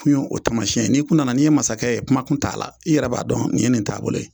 O tamasiɲɛ n'i kun nana n'i ye masakɛ ye kuma tun t'a la, i yɛrɛ b'a dɔn nin ye nin taabolo ye.